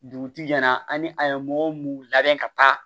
Dugutigi ɲɛna ani a ye mɔgɔ mun labɛn ka taa